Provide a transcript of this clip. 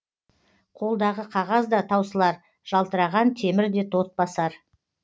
қолдағы қағаз да таусылар жалтыраған темір де тот басар